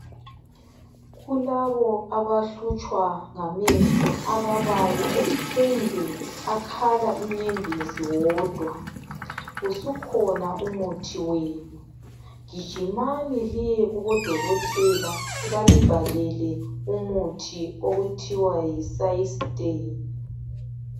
Kulabo abahlutshwa ngamehlo ababayo kumbe akhala inyembezi wodwa usukhona umuthi wenu gijimani liye kubo dokokotela balibhalele umuthi okuthwa yi systane.